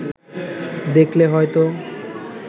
দেখলে হয়তো